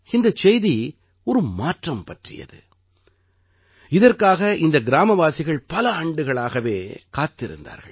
இந்தச் செய்தி ஒரு மாற்றம் பற்றியது இதற்காக இந்த கிராமவாசிகள் பல ஆண்டுகளாகவே காத்திருந்தார்கள்